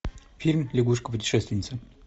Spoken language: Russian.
фильм лягушка путешественница